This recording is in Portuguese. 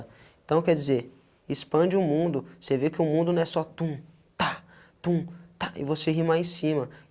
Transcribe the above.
Então, quer dizer, expande o mundo, você vê que o mundo não é só tum, ta, tum, ta, e você rimar em cima.